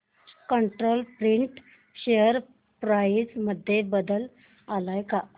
control Print share price मध्ये बदल आलाय का